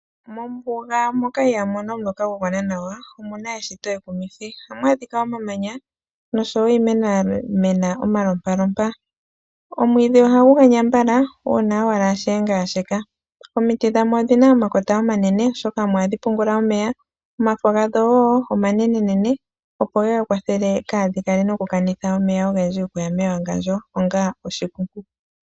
Mombuga moka ihaamu mono omuloka gwa gwana nawa, omu na eshito ekumithi. Ohamu adhika omamanya noshowo iimeno ya mena omalompalompa. Omwiidhi ohagu ganya mbala, uuna owala shiyenga ya sheka Omiti dhamo odhi na omakota omanene oshoka omo hadhi pungula omeya. Omafo gadho wo omanenenene opo ye ga kwathele kaadhi kanithe omeya ogendji okuya mewangandjo onga oshi